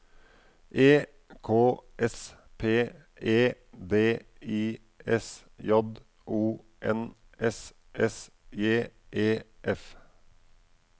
E K S P E D I S J O N S S J E F